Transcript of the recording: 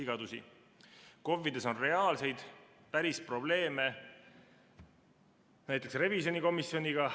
KOV‑ides on reaalseid, päris probleeme, näiteks revisjonikomisjoniga.